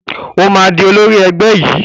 Ó máa di olórí ẹgbẹ́ yìí.